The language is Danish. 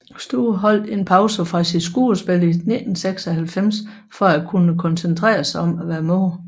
Stowe holdt en pause fra sit skuespil i 1996 for at kunne koncentrerer sig om at være mor